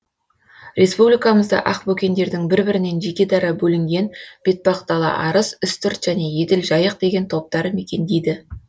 республикамызда ақбөкендердің бір бірінен жеке дара бөлінген бетпақдала арыс үстірт және еділ жайық деген топтары мекендейді